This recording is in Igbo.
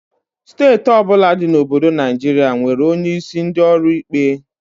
Steeti ọbụla dị na obodo Naijiria nwere onye isi ndị ọrụ ikpe